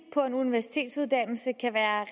på en universitetsuddannelse kan være